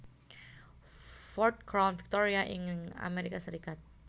Ford Crown Victoria ing Amérika Sarékat